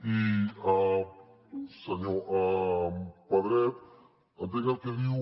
i senyor pedret entenc el que diu